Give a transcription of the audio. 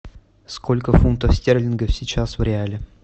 сколько фунтов стерлингов сейчас в реале